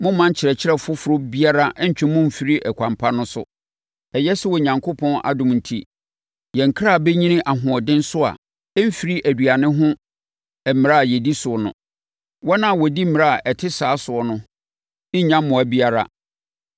Mommma nkyerɛkyerɛ foforɔ biara nntwe mo mmfiri ɛkwan pa so. Ɛyɛ sɛ Onyankopɔn adom enti, yɛn kra bɛnyini ahoɔden so a ɛmfiri aduane ho mmara a yɛdi so no. Wɔn a wɔdi mmara a ɛte saa so no nnya mmoa biara.